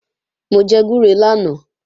Mò jẹ gbúre lánàá